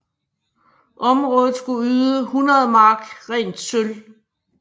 Området skulle yde 100 mark rent sølv